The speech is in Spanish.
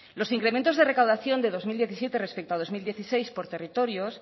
los incrementos de recaudación de dos mil diecisiete respecto a dos mil dieciséis por territorios